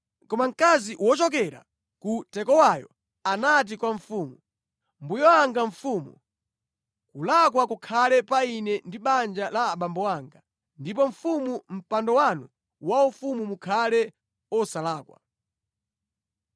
Koma mkazi wochokera ku Tekowayo anati kwa mfumu, “Mbuye wanga mfumu, kulakwa kukhale pa ine ndi banja la abambo anga ndipo mfumu ndi mpando wanu waufumu mukhale osalakwa.”